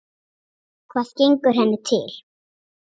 Hvað gengur henni til?